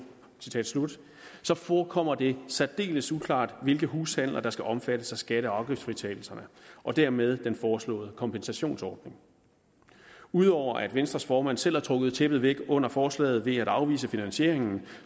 forekommer det særdeles uklart hvilke hushandler der skal omfattes af skatte og afgiftsfritagelserne og dermed den foreslåede kompensationsordning ud over at venstres formand selv har trukket tæppet væk under forslaget ved at afvise finansieringen